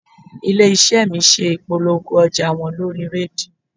Ilé iṣẹ́ mi ṣe ìpolongo ọjà wọn lórí rédíò